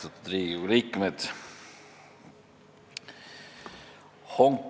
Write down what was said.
Austatud Riigikogu liikmed!